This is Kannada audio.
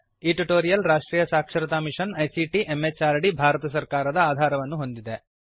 ಈ ಟ್ಯುಟೋರಿಯಲ್ ರಾಷ್ಟ್ರೀಯ ಸಾಕ್ಷರತಾ ಮಿಶನ್ ಐಸಿಟಿ ಎಂಎಚಆರ್ಡಿ ಭಾರತ ಸರ್ಕಾರದ ಆಧಾರವನ್ನು ಹೊಂದಿದೆ